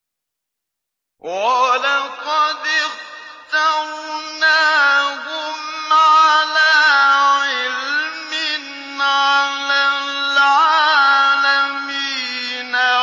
وَلَقَدِ اخْتَرْنَاهُمْ عَلَىٰ عِلْمٍ عَلَى الْعَالَمِينَ